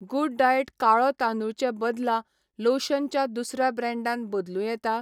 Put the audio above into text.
Good diet काळो तांदूळ चे बदला लोशन च्या दुसऱ्या ब्रँडान बदलूं येता?